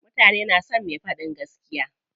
Mutane na son me faɗan gaskiya.